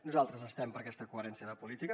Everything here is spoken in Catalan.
nosaltres estem per aquesta coherència de polítiques